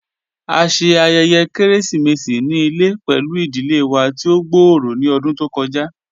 A ṣe ayẹyẹ keresimesi ni ile pẹlu idile wa ti o gbooro ni ọdun to kọja.